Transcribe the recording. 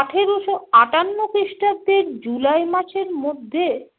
আঠেরোশো আটান্ন খ্রিস্টাব্দের জুলাই মাসের মধ্যে